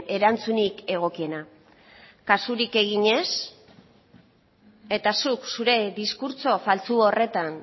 erantzunik egokiena kasurik egin ez eta zuk zure diskurtso faltsu horretan